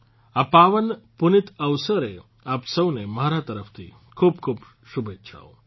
આ પાવન પુનિત અવસરે આપ સૌને મારા તરફથી ખૂબખૂબ શુભેચ્છાઓ